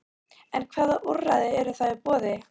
En hvaða úrræði eru þá í boði?